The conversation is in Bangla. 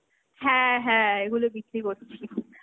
হ্যাঁ হ্যাঁ এগুলো বিক্রি করছি।